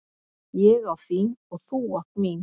Ég á þín og þú átt mín.